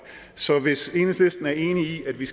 så hvis enhedslisten er enig i at vi